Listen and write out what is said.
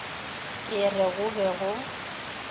ke re go be go